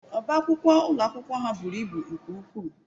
Ọbá akwụkwọ ụlọ akwụkwọ ahụ buru ibu nke ukwuu